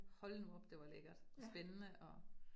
Hold nu op det var lækkert, og spændende og